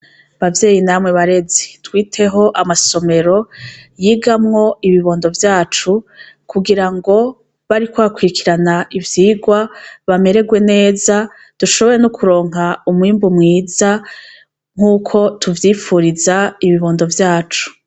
Bavyeyi namwe barezi twiteho amasomero yigamwo ibibondo vyacu kugira ngo bariko bakwirikirana ivyirwa bamererwe neza dushobore nokuronka umwimbu mwiza nkuko tuvyipfuriza ibibondo vyacu.